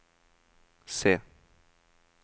se